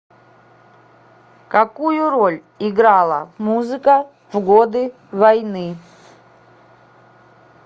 какую роль играла музыка в годы войны